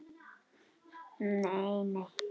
Hún: Nei nei.